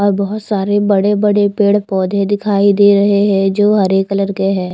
और बहुत सारे बड़े बड़े पेड़ पौधे दिखाई दे रहे है जो हरे कलर के है।